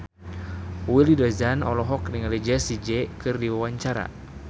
Willy Dozan olohok ningali Jessie J keur diwawancara